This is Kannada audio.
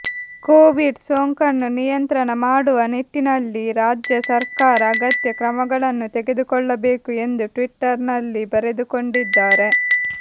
ಕೋವಿಡ್ ಸೋಂಕನ್ನು ನಿಯಂತ್ರಣ ಮಾಡುವ ನಿಟ್ಟಿನಲ್ಲಿ ರಾಜ್ಯ ಸರ್ಕಾರ ಅಗತ್ಯ ಕ್ರಮಗಳನ್ನು ತೆಗೆದುಕೊಳ್ಳಬೇಕು ಎಂದು ಟ್ವಿಟರ್ ನಲ್ಲಿ ಬರೆದುಕೊಂಡಿದ್ದಾರೆ